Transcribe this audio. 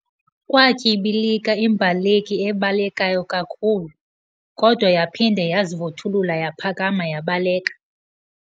Kwatyibika imbaleki ebalekayo kakhulu, kodwa yaphinde yazivuthulula yaphakama yabaleka.